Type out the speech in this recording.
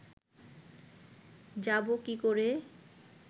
যাবো কী করে